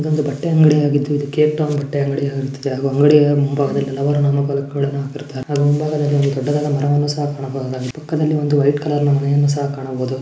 ಇದೊಂದು ಬಟ್ಟೆ ಅಂಗಡಿ ಆಗಿದ್ದು ಇದಕ್ಕೆ ಟೌನ್ ಬಟ್ಟೆ ಅಂಗಡಿ ಆಗಿರುತ್ತದೆ ಹಾಗು ಅಂಗಡಿಯ ಮುಂಭಾಗದಲ್ಲಿ ಹಾಕಿರುತ್ತಾರೆ ಅದರ ಮುಂಭಾಗದಲ್ಲಿ ದೊಡ್ಡದಾದ ಮರವನ್ನು ಸಹ ಕಾಣಬಹುದು ಪಕ್ಕದಲ್ಲಿ ಒಂದು ವೈಟ್ ಕಲರ್ ಮನೆಯನ್ನು ಸಹ ಕಾಣಬಹುದು.